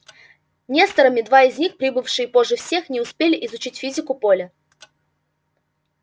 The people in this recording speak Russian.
несторами два из них прибывшие позже всех не успели изучить физику поля